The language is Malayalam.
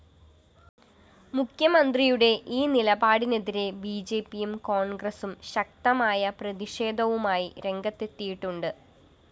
മുഖ്യമന്ത്രിയുടെ ഈ നിലപാടിനെതിരെ ബിജെപിയും കോണ്‍ഗ്രസും ശക്തമായ പ്രതിഷേധവുമായി രംഗത്തെത്തിയിട്ടുണ്ട്